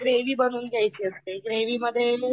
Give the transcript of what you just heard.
पहिले ग्रेव्ही बनवून घ्यायची असते ग्रेव्ही मध्ये